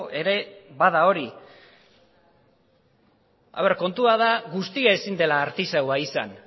ere bada hori kontua da guztia ezin dela artisaua izan